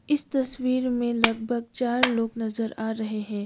इस तस्वीर में लगभग चार लोग नजर आ रहे है।